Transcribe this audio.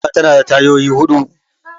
Mota tana da tayoyi huɗu